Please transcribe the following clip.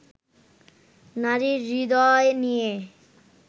নারীর হৃদয় নিয়ে